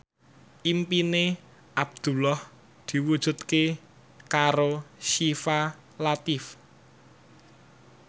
impine Abdullah diwujudke karo Syifa Latief